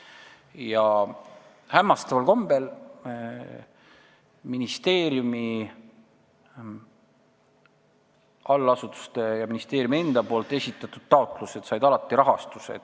Ja hämmastaval kombel said allasutuste ja ministeeriumi enda esitatud taotlused alati rahastuse.